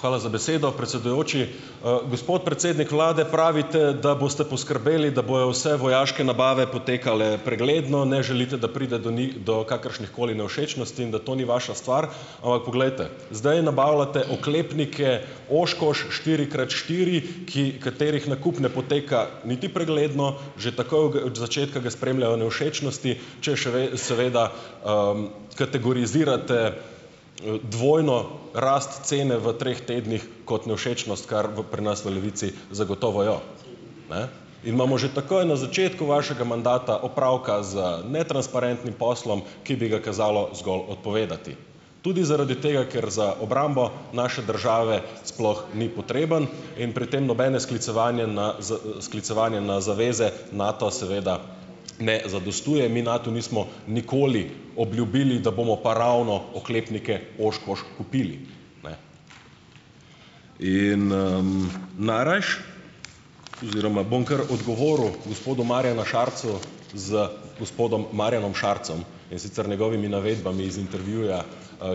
Hvala za besedo, predsedujoči. gospod predsednik vlade, pravite, da boste poskrbeli, da bojo vse vojaške nabave potekale pregledno, ne želite, da pride do njih, do kakršnihkoli nevšečnosti, in da to ni vaša stvar. Ampak poglejte. Zdaj nabavljate oklepnike Oshkosh štiri krat štiri, ki katerih nakup ne poteka niti pregledno, že takoj og od začetka ga spremljajo nevšečnosti, če seveda, kategorizirate, dvojno rast cene v treh tednih kot nevšečnost, kar v pri nas v Levici zagotovo jo, ne. In imamo že takoj na začetku vašega mandata opravka z netransparentnim poslom, ki bi ga kazalo zgolj odpovedati. Tudi zaradi tega, ker za obrambo naše države sploh ni potreben. In pri tem nobeno sklicevanje na sklicevanje na zaveze Nato seveda ne zadostuje. Mi Natu nismo nikoli obljubili, da bomo pa ravno oklepnike Oshkosh kupili, ne. In, najrajši - oziroma bom kar odgovoril gospodu Marjanu Šarcu z gospodom Marjanom Šarcem. In sicer njegovimi navedbami iz intervjuja,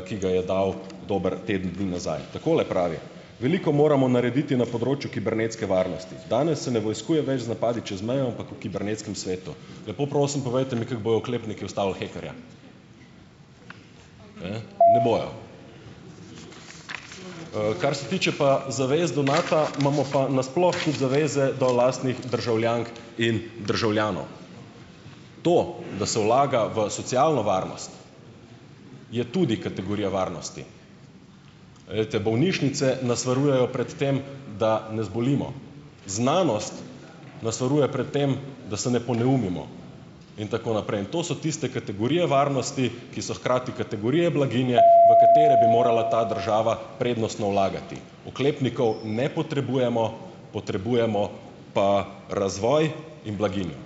ki ga je dal dober teden dni nazaj. Takole pravi: "Veliko moramo narediti na področju kibernetske varnosti. Danes se ne vojskuje več z napadi čez mejo, ampak v kibernetskem svetu." Lepo prosim, povejte mi, kako bojo oklepniki ustavili hekerja. Ne bojo. kar se tiče pa zavez do Nata, imamo pa nasploh tudi zaveze do lastnih državljank in državljanov. To, da se vlaga v socialno varnost, je tudi kategorija varnosti. Glejte, bolnišnice nas varujejo pred tem, da ne zbolimo. Znanost nas varuje pred tem, da se ne poneumimo. In tako naprej. In to so tiste kategorije varnosti, ki so hkrati kategorije blaginje, v katere bi morala ta država prednostno vlagati. Oklepnikov ne potrebujemo. Potrebujemo pa razvoj in blaginjo.